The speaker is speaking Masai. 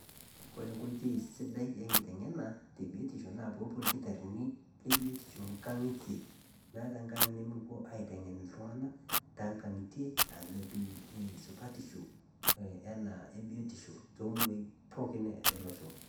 Kore nkoitoi sidai enkiteng'ena te biotisho naa poopuo ilkitarrini le biotisho nkang'itie , meata nkang' nemepuo aiteng'en ltung'ana tengang'itie ah netiu eh supatishu ena ebiotisho tomuruai pooki elosho.